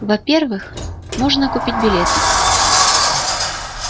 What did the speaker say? во-первых можно купить билеты